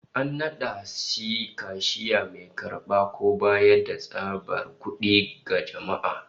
An nada shi kashiya, mai karba ko bayar da tsabar kud'i ga jama'a